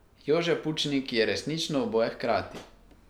Jože Pučnik je resnično oboje hkrati.